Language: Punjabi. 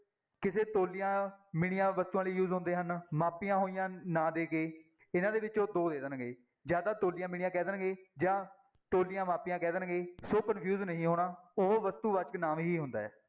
ਕਿਸੇ ਤੁਲੀਆਂ, ਮਿਣੀਆਂ ਵਸਤੂਆਂ ਲਈ use ਹੁੰਦੇ ਹਨ ਮਾਪੀਆਂ ਹੋਈਆਂ ਨਾ ਦੇ ਕੇ, ਇਹਨਾਂ ਦੇ ਵਿੱਚੋਂ ਦੋ ਦੇ ਦੇਣਗੇ, ਜਾਂ ਤਾਂ ਤੁਲੀਆਂ, ਮਿਣੀਆਂ ਕਹਿ ਦੇਣਗੇ ਜਾਂ ਤੁਲੀਆਂ, ਮਾਪੀਆਂ ਕਹਿ ਦੇਣਗੇ, ਸੋ confuse ਨਹੀਂ ਹੋਣਾ, ਉਹ ਵਸਤੂਵਾਚਕ ਨਾਂਵ ਹੀ ਹੁੰਦਾ ਹੈ।